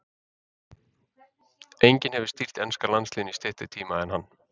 Enginn hefur stýrt enska landsliðinu í styttri tíma en hann.